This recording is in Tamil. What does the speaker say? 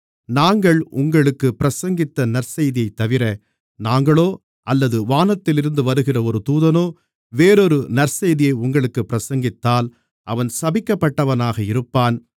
நாங்கள் உங்களுக்குப் பிரசங்கித்த நற்செய்தியைத்தவிர நாங்களோ அல்லது வானத்திலிருந்து வருகிற ஒரு தூதனோ வேறொரு நற்செய்தியை உங்களுக்குப் பிரசங்கித்தால் அவன் சபிக்கப்பட்டவனாக இருப்பான்